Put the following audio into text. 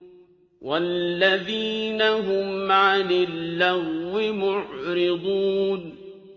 وَالَّذِينَ هُمْ عَنِ اللَّغْوِ مُعْرِضُونَ